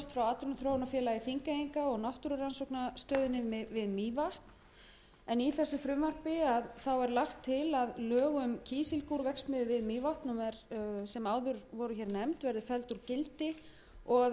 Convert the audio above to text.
atvinnuþróunarfélagi þingeyinga h f og náttúrurannsóknastöðinni við mývatn í þessu frumvarpi er lagt til að lög um kísilgúrverksmiðju við mývatn sem áður voru hér nefnd verði felld úr gildi og að kísilgúrsjóði